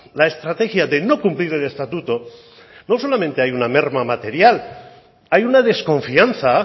la estrategia de no cumplir el estatuto no solamente hay una merma material hay una desconfianza